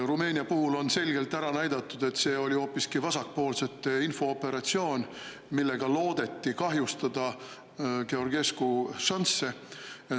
Rumeenia puhul on selgelt ära näidatud, et see oli hoopiski vasakpoolsete infooperatsioon, millega loodeti kahjustada Georgescu šansse.